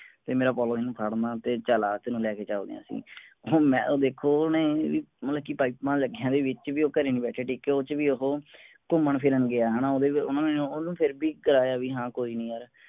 ਤੇ ਮੈਂ ਨੂੰ ਫੜਨਾ ਤੇ ਚਲ ਆ ਤੈਂਨੂੰ ਲੈਕੇ ਚਲਦੇ ਆਂ ਅਸੀਂ ਮੈਂ ਦੇਖੋ ਓਹਨੇ ਬਈ ਮਤਲਬ ਕਿ ਪਾਇਪਾਂ ਲੱਗਿਆਂ ਦੇ ਵਿਚ ਵੀ ਉਹ ਘਰੇ ਟਿੱਕ ਕੇ ਨਹੀਂ ਬੈਠਿਆਂ ਓਹਦੇ ਵਿਚ ਵੀ ਉਹ ਘੁੰਮਣ ਫਿਰਨ ਗਿਆ ਹੈਨਾ ਓਹਨੇ ਮੈਂਨੂੰ ਓਹਨੂੰ ਫੇਰ ਵੀ ਕਰਾਇਆ ਵੀ ਹਾਂ ਕੋਈ ਨੀ ਯਾਰ